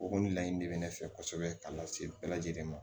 O kɔni laɲini de bɛ ne fɛ kosɛbɛ ka lase bɛɛ lajɛlen ma